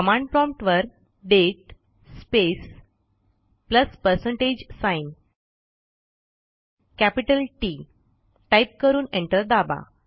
command promptवर दाते space plus percentage sign capital Tटाईप करून एंटर दाबा